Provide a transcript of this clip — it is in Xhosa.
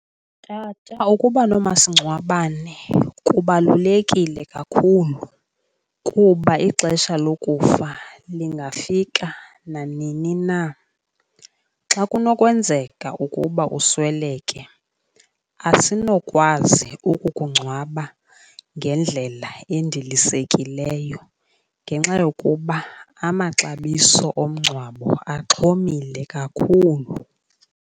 Tata, ukuba nomasingcwabane kubalulekile kakhulu kuba ixesha lokufa lingafika nanini na. Xa kunokwenzeka ukuba usweleke asinokwazi ukukungcwaba ngendlela endilisekileyo ngenxa yokuba amaxabiso omngcwabo axhomile kakhulu.